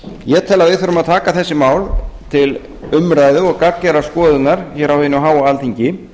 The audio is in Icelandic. ég tel að við þurfum að taka þessi mál til umræðu og gagngerrar skoðunar hér á hinu háa alþingi